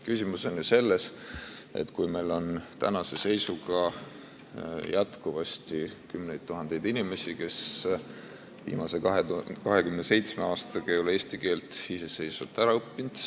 Küsimus on ju selles, et meil on tänase seisuga jätkuvasti kümneid tuhandeid inimesi, kes ei ole viimase 27 aastaga eesti keelt iseseisvalt ära õppinud.